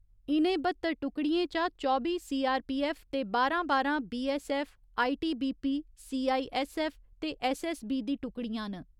इ'नें बत्तर टुकड़ियें चा चौबी सीआरपीऐफ्फ ते बारां बारां बीऐस्सऐफ्फ, आईटीबीपी, सीआईऐस्सऐफ्फ ते ऐस्सऐस्सबी दी टुकड़ियां न।